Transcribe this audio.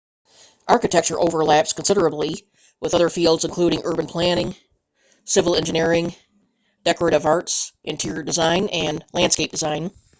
architecture overlaps considerably with other fields including urban planning civil engineering decorative arts interior design and landscape design